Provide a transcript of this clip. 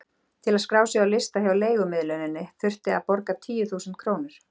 Til að skrá sig á lista hjá leigumiðluninni þurfti að borga tíu þúsund krónur.